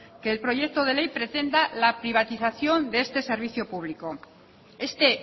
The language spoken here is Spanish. que el proyecto de ley pretenda la privatización de este servicio público este